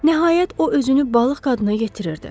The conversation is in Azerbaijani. Nəhayət o özünü balıq qadına yetirirdi.